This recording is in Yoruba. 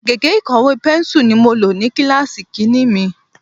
Gègé ìkọ̀wé Pẹ́nsù ni mo lò ní kíláàsì ìkínní mi.